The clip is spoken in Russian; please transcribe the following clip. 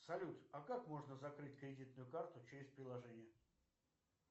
салют а как можно закрыть кредитную карту через приложение